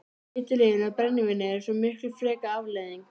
Eiturlyfin og brennivínið er svo miklu frekar afleiðing.